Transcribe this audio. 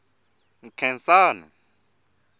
nkhensani